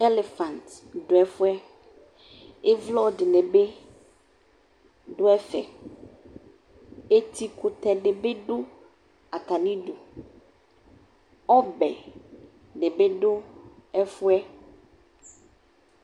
Unyi du ɛfu yɛ Ivlɔ dini bi du ɛfɛ Etikutɛ di bi du atami idu Ɔbɛ di bi du ɛfu yɛ